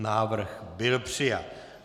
Návrh byl přijat.